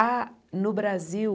Há no Brasil...